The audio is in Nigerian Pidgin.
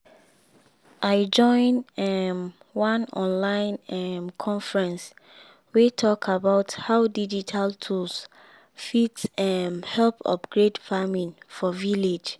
i join um one online um conference wey talk about how digital tools fit um help upgrade farming for village.